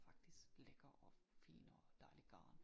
Faktisk lækker og fin og dejligt garn